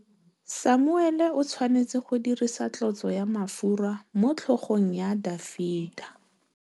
Samuele o tshwanetse go dirisa tlotsô ya mafura motlhôgong ya Dafita.